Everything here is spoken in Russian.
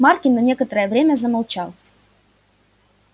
маркин на некоторое время замолчал